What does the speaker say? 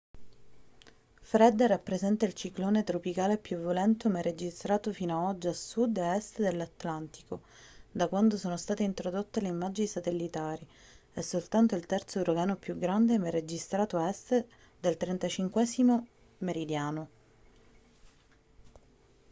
fred rappresenta il ciclone tropicale più violento mai registrato fino ad oggi a sud e a est dell'atlantico da quando sono state introdotte le immagini satellitari e soltanto il terzo uragano più grande mai registrato a est del 35°w